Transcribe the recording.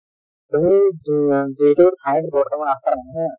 তুমি যুৱা যিটো ঠাইত বৰ্তমান আছে নহয়